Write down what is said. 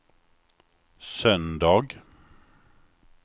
söndag